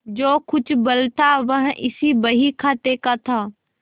जो कुछ बल था वह इसी बहीखाते का था